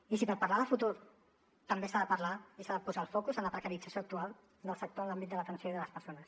i per parlar de futur també s’ha de parlar i s’ha de posar el focus en la precarització actual del sector en l’àmbit de l’atenció i de les persones